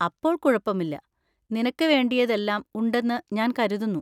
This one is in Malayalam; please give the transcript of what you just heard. അപ്പോൾ കുഴപ്പമില്ല. നിനക്ക് വേണ്ടിയത് എല്ലാം ഉണ്ടെന്ന് ഞാൻ കരുതുന്നു.